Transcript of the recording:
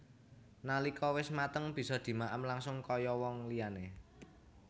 Nalika wis mateng bisa dimaem langsung kaya who liyane